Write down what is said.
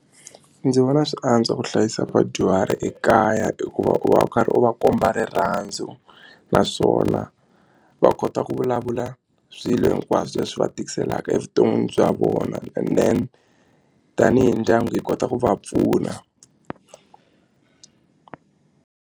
Ndzi vona swi antswa ku hlayisa vadyuhari ekaya hikuva u va u karhi u va komba rirhandzu naswona va kota ku vulavula swilo hinkwaswo leswi va tikiselaka evuton'wini bya vona and then tanihi ndyangu hi kota ku va pfuna.